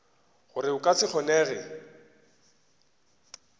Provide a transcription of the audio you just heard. gore go ka se kgonege